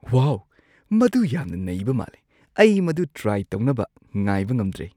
ꯋꯥꯎ, ꯃꯗꯨ ꯌꯥꯝꯅ ꯅꯩꯕ ꯃꯥꯜꯂꯦ! ꯑꯩ ꯃꯗꯨ ꯇ꯭ꯔꯥꯏ ꯇꯧꯅꯕ ꯉꯥꯏꯕ ꯉꯝꯗ꯭ꯔꯦ꯫